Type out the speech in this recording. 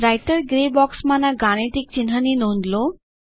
writer grey બોક્સમાંના ગાણિતિક ચિહ્નની નોંધ લો